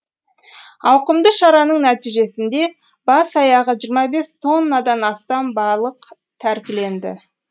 ауқымды шараның нәтижесінде бас аяғы жиырма бес тоннадан астам балық тәркіленді